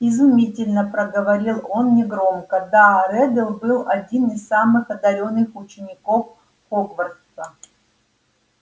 изумительно проговорил он негромко да реддл был один из самых одарённых учеников хогвартса